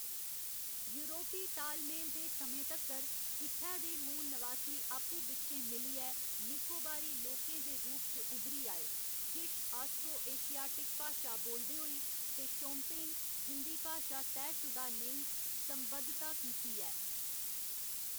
यूरोपी ताल मेल दे समें तक्कर, इत्थै दे मूल नवासी आपू बिच्चें मिलियै निकोबारी लोकें दे रूप च उभरी आए, किश आस्ट्रो एशियाटिक भाशा बोलदे होई, ते शोम्पेन, जिं'दी भाशा तैह्‌‌‌शुदा नेई संबद्धता कीती ऐ।